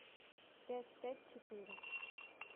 пять пять четыре